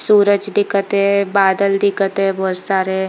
सूरज दिखत हे बादल दिखत हे बहुत सारे--